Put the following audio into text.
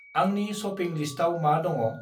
आंनि शपिं लिस्टाव मा दङ?